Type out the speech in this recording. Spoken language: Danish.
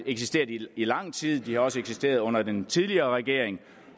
eksisteret i lang tid de har også eksisteret under den tidligere regering